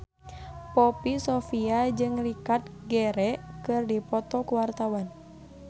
Poppy Sovia jeung Richard Gere keur dipoto ku wartawan